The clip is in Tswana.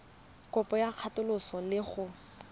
kopo ya katoloso le go